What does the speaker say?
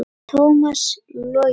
Tómas Logi.